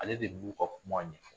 Ale de b'u ka kuma ɲɛ